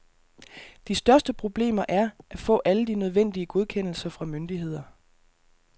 De største problemer er at få alle de nødvendige godkendelser fra myndigheder.